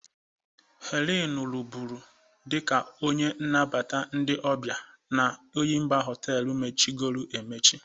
Helen rụbụrụ dịka onye nabata ndị ọbịa n' Enyimba Họteelu mechigoro emechi.